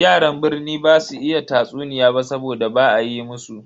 Yaran birni basu iya tatsuniya ba saboda ba a yi musu.